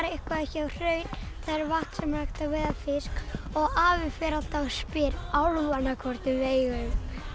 eitthvað hjá Hrauni það er vatn sem er hægt að veiða fisk og afi fer alltaf og spyr hvort við megum